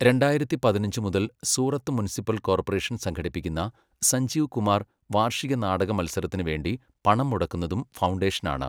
രണ്ടായിരത്തി പതിനഞ്ച് മുതൽ സൂറത്ത് മുനിസിപ്പൽ കോർപ്പറേഷൻ സംഘടിപ്പിക്കുന്ന, 'സഞ്ജീവ് കുമാർ' വാർഷിക നാടക മത്സരത്തിനുവേണ്ടി പണം മുടക്കുന്നതും ഫൗണ്ടേഷനാണ്.